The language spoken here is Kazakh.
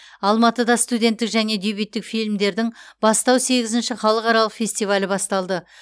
алматыда студенттік және дебюттік фильмдердің бастау сегізінші халықаралық фестивалі басталды